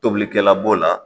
Tobilikɛla b'o la.